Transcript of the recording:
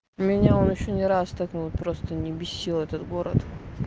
меня он ещё не раз так ну вот просто не бесил этот город